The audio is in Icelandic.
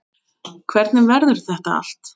Hvernig verður þetta allt?